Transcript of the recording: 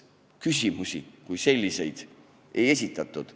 Küsimusi kui selliseid peaaegu ei esitatud.